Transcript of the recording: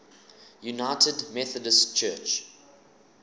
united methodist church